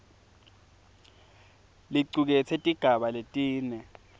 licuketse tigaba letine